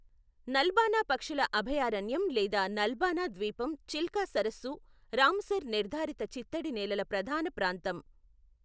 నల్బానా పక్షుల అభయారణ్యం లేదా నల్బనా ద్వీపం చిల్కా సరస్సు రామసర్ నిర్ధారిత చిత్తడి నేలల ప్రధాన ప్రాంతం.